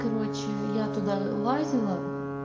короче я туда лазила